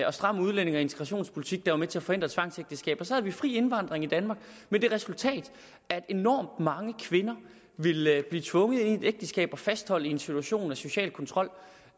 og stram udlændinge og integrationspolitik der var med til at forhindre tvangsægteskaber så havde vi fri indvandring i danmark med det resultat at enormt mange kvinder ville blive tvunget ind i et ægteskab og fastholdt i en situation med social kontrol